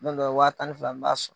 Ne kun wa tan ni fila fila sɔ .